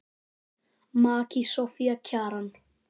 Maki Soffía Kjaran.